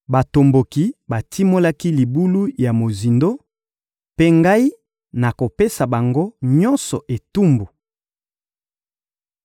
Batomboki batimolaki libulu ya mozindo; mpe Ngai nakopesa bango nyonso etumbu.